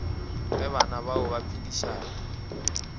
ge bana bao ba phedišana